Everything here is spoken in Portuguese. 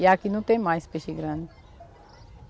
E aqui não tem mais peixe grande.